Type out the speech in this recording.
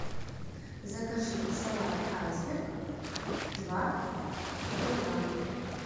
закажи салат айсберг два килограмма